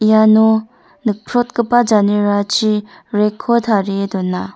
iano nikprotgipa janerachi rack-ko tarie don·a.